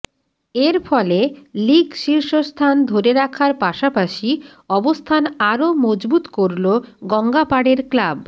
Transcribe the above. এর ফলে লিগ শীর্ষস্থান ধরে রাখার পাশাপাশি অবস্থান আরও মজবুত করল গঙ্গাপাড়ের ক্লাব